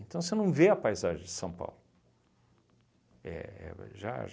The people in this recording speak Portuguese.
Então, você não vê a paisagem de São Paulo. Éh éh já